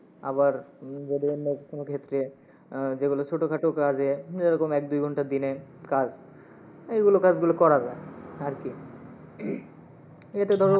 আবার ক্ষেত্রে আহ যেগুলো ছোট খাটো কাজে, যেরকম এক দুই ঘন্টার দিনে কাজ এইগুলো কাজ গুলো করা যায় আর কি এতে ধরো